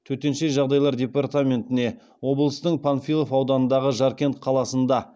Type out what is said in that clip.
төтенше жағдайлар департаментіне облыстың панфилов ауданындағы жаркент қаласында